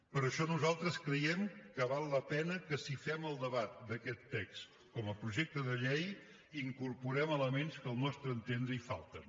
per això nosaltres creiem que val la pena que si fem el debat d’aquest text com a projecte de llei incorporem elements que al nostre entendre hi falten